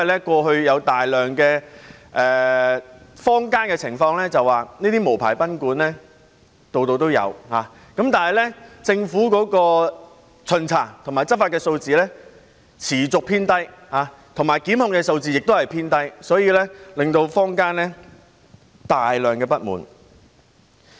過去有大量的情況是，這些無牌賓館坊間四處也有，但政府巡查和執法的數字持續偏低，而檢控數字亦偏低，所以坊間出現大量不滿。